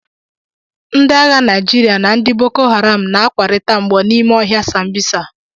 Ndị agha Naijiria na ndị Boko Haram na-akwarịta mgbọ n'ime ọhịa sambisa